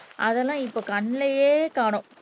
அதெல்லாம் இப்ப கண்ணுலயே காணோம்